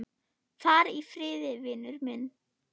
Far í friði, vinur minn.